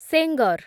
Sengar